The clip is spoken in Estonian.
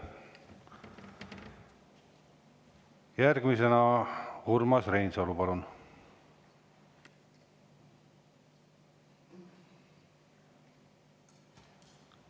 Järgmisena Urmas Reinsalu, palun!